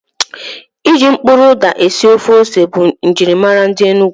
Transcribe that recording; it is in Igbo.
Ịjụ mkpụrụ ụda esi ofe ose bụ njirimara ndi Enugu